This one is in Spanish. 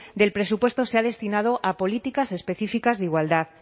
del presupuesto se ha destinado a políticas específicas de igualdad